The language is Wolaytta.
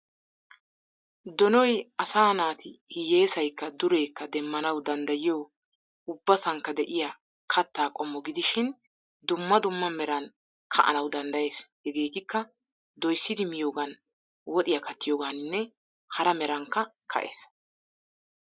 Donoy asa naati hiyessaykka dureekka demmanawu danddayiyo ubbasankka de"iyaa kattaa qommo gidishin dumma dumma meran ka"anawu danddayees. Hegeetikka doyssidi miyoogan woxiyaa kattiyooganinne hara merankka ka'ees.